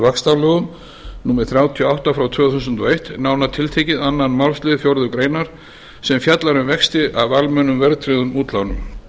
vaxtalögum númer þrjátíu og átta frá tvö þúsund og eitt nánar tiltekið öðrum málslið fjórðu grein sem fjallar um vexti af almennum verðtryggðum útlánum